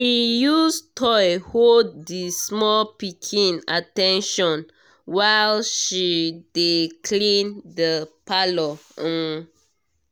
he use toy hold the small pikin at ten tion while she dey clean the parlour um